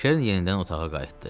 Kerin yenidən otağa qayıtdı.